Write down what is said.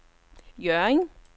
Hjørring